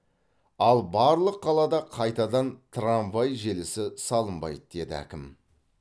ал барлық қалада қайтадан трамвай желісі салынбайды деді әкім